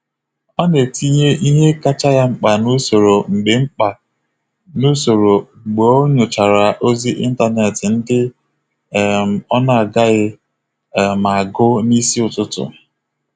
Ọ na-etinye ihe kacha ya mkpa n’usoro mgbe mkpa n’usoro mgbe o nyochara ozi ịntanetị ndị um ọ gaghị um agụ n'isi ụtụtụ.